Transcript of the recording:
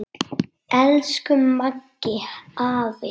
Elsku Maggi afi.